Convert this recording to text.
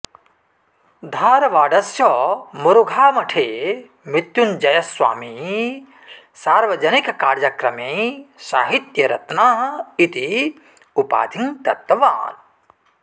धारवाडस्य मुरुघामठे मृत्युञ्जयस्वामी सार्वजनिककर्यक्रमे साहित्यरत्नः इति उपाधिं दत्तवान्